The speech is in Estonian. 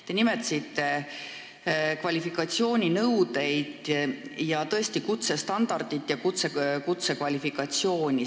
Te nimetasite kvalifikatsiooninõudeid ja kutsestandardit ja kutsekvalifikatsiooni.